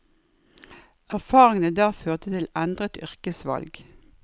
Erfaringene der førte til endret yrkesvalg.